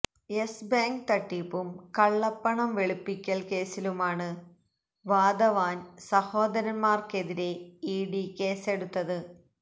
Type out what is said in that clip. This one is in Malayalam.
യെസ് ബേങ്ക് തട്ടിപ്പും കള്ളപണം വെളുപ്പിക്കല് കേസിലുമാണ് വാധാവാന് സഹോദരന്മാര്ക്കെതിരേ ഇഡി കേസെടുത്തത്